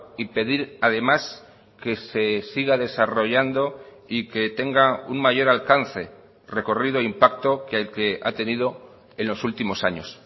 y pedir además que se siga desarrollando y que tenga un mayor alcance recorrido impacto que el que ha tenido en los últimos años